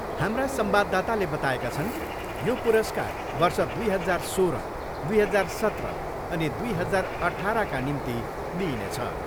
हाम्रा संवाददाताले बताएका छन्, यो पुरस्कार वर्ष दुई हजार सोह्र, दुई हजार सत्र अनि दुई हजार अठाह्रका निम्ति दिइनेछ।